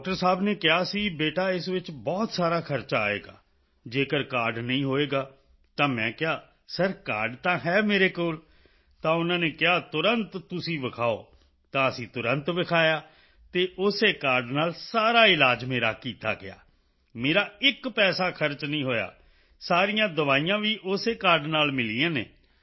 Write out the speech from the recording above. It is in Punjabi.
ਡਾਕਟਰ ਸਾਹੇਬ ਨੇ ਕਿਹਾ ਸੀ ਬੇਟਾ ਇਸ ਵਿੱਚ ਬਹੁਤ ਸਾਰਾ ਖਰਚਾ ਆਏਗਾ ਜੇਕਰ ਕਾਰਡ ਨਹੀਂ ਹੋਵੇਗਾ ਤਾਂ ਮੈਂ ਕਿਹਾ ਸਿਰ ਕਾਰਡ ਤਾਂ ਹੈ ਮੇਰੇ ਕੋਲ ਤਾਂ ਉਨ੍ਹਾਂ ਨੇ ਕਿਹਾ ਤੁਰੰਤ ਤੁਸੀਂ ਵਿਖਾਓ ਤਾਂ ਅਸੀਂ ਤੁਰੰਤ ਦਿਖਾਇਆ ਅਤੇ ਉਸੇ ਕਾਰਡ ਨਾਲ ਸਾਰਾ ਇਲਾਜ ਮੇਰਾ ਕੀਤਾ ਗਿਆ ਮੇਰਾ ਇੱਕ ਪੈਸਾ ਖਰਚ ਨਹੀਂ ਹੋਇਆ ਸਾਰੀਆਂ ਦਵਾਈਆਂ ਵੀ ਉਸੇ ਕਾਰਡ ਨਾਲ ਮਿਲੀਆਂ ਹਨ